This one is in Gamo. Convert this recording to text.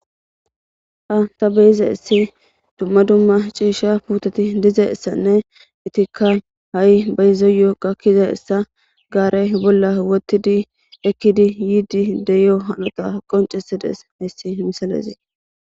Han ta beyizays dumma dumma ciisha putet de'izaysanne etika ha'i bayzos gakizaysa gare bolla wothid ekid yiid de'iyo hanota qoncisides hays misilez.